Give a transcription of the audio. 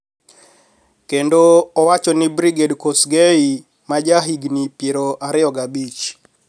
Kendo iwacho ni Brigid Kosgei ma ja higni pier ariyo gabich